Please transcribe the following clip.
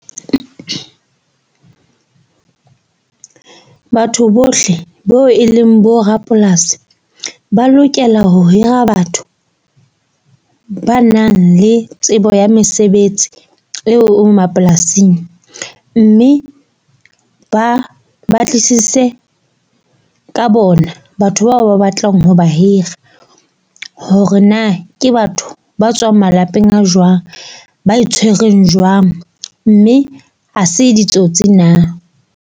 Batho bohle bo e leng bo rapolasi ba lokela ho hira batho ba nang le tsebo ya mesebetsi eo mapolasing. Mme ba batlisise ka bona, batho bao ba batlang ho ba hira. Hore na ke batho ba tswang malapeng a jwang, ba e tshwereng jwang, mme ha se ditsotsi na.